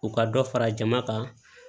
U ka dɔ fara jama kan